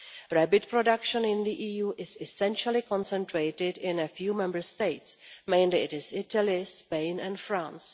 Rabbit production in the EU is essentially concentrated in a few Member States mainly Italy, Spain and France.